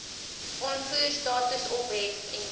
uitvoerstatus ophef indien